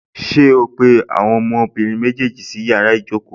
Ṣé ó pé àwọn ọmọbìnrin méjèèjì sí yàrá ìjókòó?